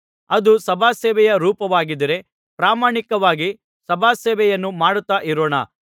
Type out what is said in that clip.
ಅದು ಸಭಾಸೇವೆಯ ರೂಪವಾಗಿದ್ದರೆ ಪ್ರಾಮಾಣಿಕವಾಗಿ ಸಭಾಸೇವೆಯನ್ನು ಮಾಡುತ್ತಾ ಇರೋಣ